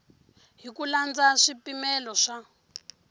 hi ku landza swipimelo swa